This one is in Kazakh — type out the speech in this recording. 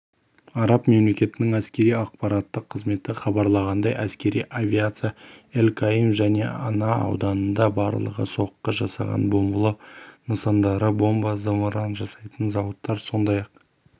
араб мемлекетінің әскери-ақпараттық қызметі хабарлағандай әскери авиация эль-каим және ана ауданында барлығы соққы жасаған бомбалау нысандары бомба зымыран жасайтын зауыттар сондай-ақ